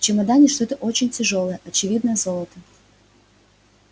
в чемодане что очень тяжёлое очевидно золото